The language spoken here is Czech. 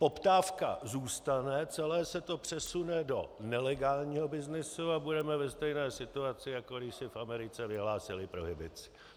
Poptávka zůstane, celé se to přesune do nelegálního byznysu a budeme ve stejné situaci, jako když se v Americe vyhlásila prohibice.